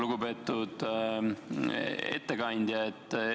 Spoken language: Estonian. Lugupeetud ettekandja!